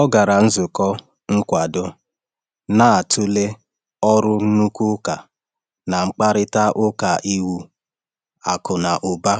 Ọ gara nzukọ nkwado na-atụle ọrụ nnukwu ụka na mkparịta ụka iwu akụ na ụba.